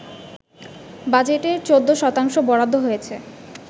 বাজেটের ১৪ শতাংশ বরাদ্দ হয়েছে